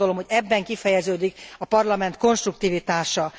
Azt gondolom, hogy ebben kifejeződik a Parlament konstruktivitása.